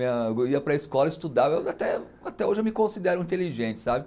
ia para a escola, estudava, até até hoje eu me considero inteligente, sabe?